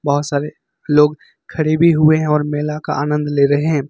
बहोत सारे लोग खड़े भी हुए है और मेला का आनंद ले रहे हैं।